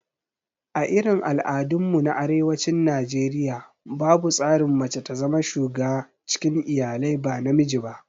A irin al'adun mu na arewacin Najeriaya, babu tsarin mace ta zama shuga cikin iyalai ba namiji ba